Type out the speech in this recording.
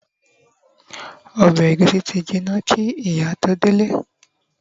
obe egusi ti jina ki ìyá to delẹ